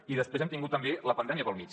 i després hem tingut també la pandèmia pel mig